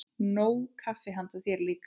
Nóg kaffi handa þér líka.